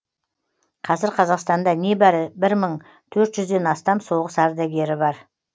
қазір қазақстанда небәрі бір мың төрт жүзден астам соғыс ардагері бар